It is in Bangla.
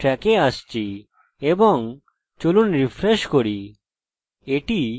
এটি connected এবং যদি এটি না পান তাহলে আমরা mysql_error পাই